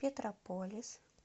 петрополис